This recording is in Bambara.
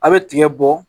A' bɛ tigɛ bɔ